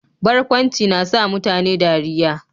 Barkwanci na sa mutane dariyya.